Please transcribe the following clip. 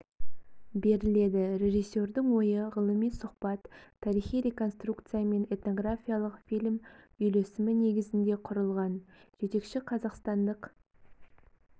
беріледі режиссердің ойы ғылыми сұхбат тарихи реконструкция мен этнографиялық фильм үйлесімі негізінде құрылған жетекші қазақстандық